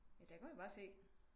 Ja der kan man bare se